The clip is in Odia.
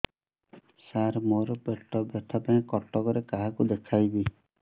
ସାର ମୋ ର ପେଟ ବ୍ୟଥା ପାଇଁ କଟକରେ କାହାକୁ ଦେଖେଇବି